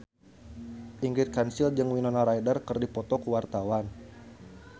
Ingrid Kansil jeung Winona Ryder keur dipoto ku wartawan